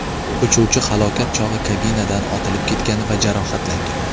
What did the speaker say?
Uchuvchi halokat chog‘i kabinadan otilib ketgan va jarohatlangan.